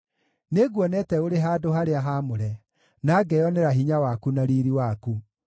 Nĩnguonete ũrĩ handũ-harĩa-haamũre, na ngeyonera hinya waku na riiri waku.